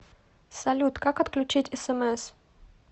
салют как отключить смс